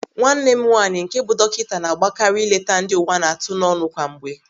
Nwanne m nwaanyị nke bụ dọkịta na-agbakari ileta ndị uwa na-atụ n'ọnụ kwa mgbe.